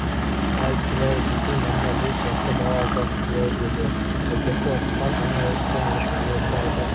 әй күләй бүкіл маңда бұл сияқты бала жоқ күләй деді әкесі оқыстан ана өрістен ешкілерді айдап